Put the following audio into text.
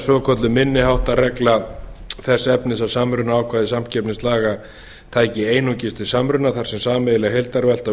svokölluð minni háttar regla þess efnis að samrunaákvæði samkeppnislaga tæki einungis til samruna þar sem sameiginleg heildarvelta